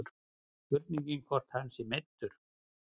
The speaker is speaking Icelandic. Spurning hvort að hann sé meiddur.